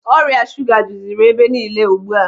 Ọrịa shuga jụziri ebe niile ugbu a.